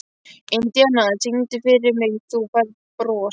Indíana, syngdu fyrir mig „Þú Færð Bros“.